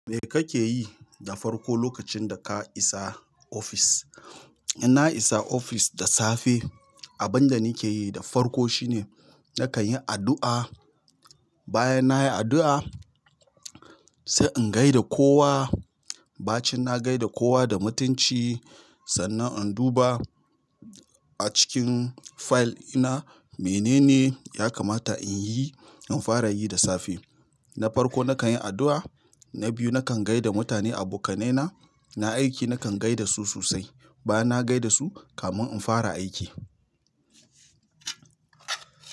Me kake yi da farko lokacin da ka isa ofis? Ina isa ofis da safe, abin da nake yi da farko shine nakan yi addu'a. Bayan nayi addu'a, sai in gaida kowa. Bacin na gaida kowa da mutunci sannan in duba. A cikin fayil ina menene ya kamata in yi, in fara yi da safe. Na farko nakan yi addu'a, na biyu nakan gaida mutane, abokanaina na aiki nakan gaida su sosai. Bayan na gaida su, kamun in fara aiki.